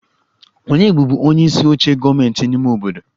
Ònye bụbu onyeisi oche gọọmentị ime obodo?